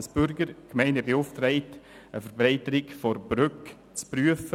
Die Bürger beauftragten die Gemeinde, eine Verbreiterung der Brücke zu prüfen.